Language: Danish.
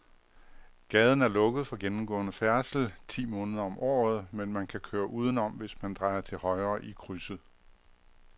Gaden er lukket for gennemgående færdsel ti måneder om året, men man kan køre udenom, hvis man drejer til højre i krydset.